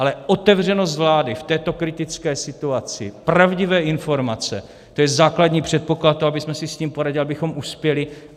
Ale otevřenost vlády v této kritické situaci, pravdivé informace, to je základní předpoklad toho, abychom si s tím poradili, abychom uspěli.